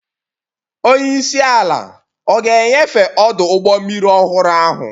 Onye isi ala ọ ga-enyefe ọdụ ụgbọ mmiri ọhụrụ ahụ?